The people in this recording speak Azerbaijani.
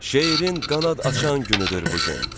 Şeirin qanad açan günüdür bu gün.